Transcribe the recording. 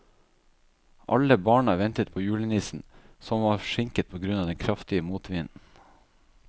Alle barna ventet på julenissen, som var forsinket på grunn av den kraftige motvinden.